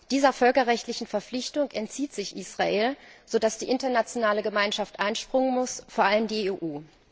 Dieser völkerrechtlichen Verpflichtung entzieht sich Israel, so dass die internationale Gemeinschaft einspringen muss, vor allem die EU.